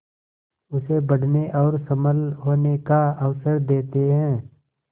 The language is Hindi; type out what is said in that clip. उसे बढ़ने और सबल होने का अवसर देते हैं